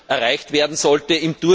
erreicht werden sollte.